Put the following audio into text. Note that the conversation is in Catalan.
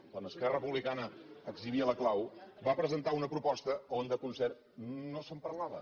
quan esquerra republicana exhibia la clau va presentar una proposta on de concert no se’n parlava